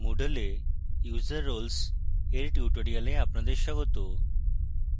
moodle এ user roles এর tutorial আপনাদের স্বাগত